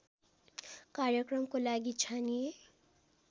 कार्यक्रमको लागि छानिए